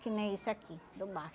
Que nem esse aqui, do macho.